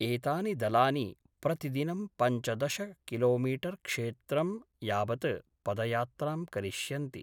एतानि दलानि प्रतिदिनं पञ्चदश किलोमीटर्‌क्षेत्रं यावत् पदयात्रां करिष्यन्ति।